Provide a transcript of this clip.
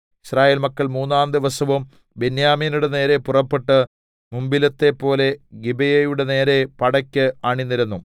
യിസ്രായേൽ മക്കൾ മൂന്നാം ദിവസവും ബെന്യാമീന്യരുടെ നേരെ പുറപ്പെട്ട് മുമ്പിലത്തെപ്പോലെ ഗിബെയയുടെ നേരെ പടെക്ക് അണിനിരന്നു